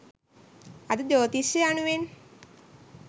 අද ජ්‍යෝතිෂය යනුවෙන්